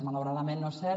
malauradament no és cert